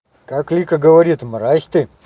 как вика говорит мразь ты